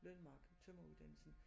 Learnmark tømreruddannelsen